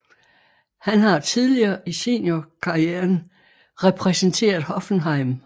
Han har tidligere i seniorkarrieren repræsenteret Hoffenheim